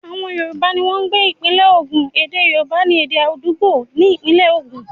Àwọn Yorùbá ní wọ́n ń gbé ìpínlẹ Ogun, ède Yorùbá ni èdè àdúgbò ní ìpínlẹ̀ ogun.